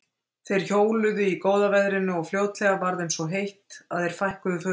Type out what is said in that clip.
Þeir hjóluðu í góða veðrinu og fljótlega varð þeim svo heitt að þeir fækkuðu fötum.